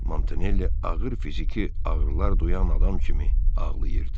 Montanelli ağır fiziki ağrılar duyan adam kimi ağlayırdı.